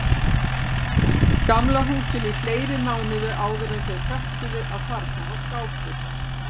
Gamla húsinu í fleiri mánuði áðuren þau föttuðu að þarna var skápur.